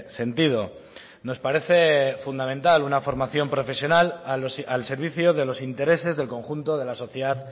sentido nos parece fundamental una formación profesional al servicio de los intereses del conjunto de la sociedad